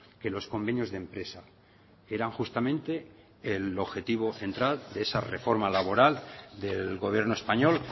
que los convenios de empresa eran justamente el objetivo central de esa reforma laboral del gobierno español